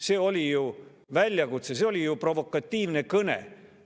See oli ju väljakutse, see oli provokatiivne kõne.